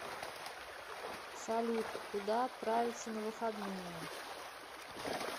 салют куда отправится на выходные